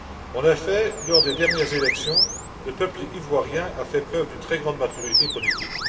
En effet, lors des dernières élections, le peuple ivoirien a fait preuve d'une très grande maturité politique.